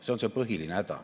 See on see põhiline häda.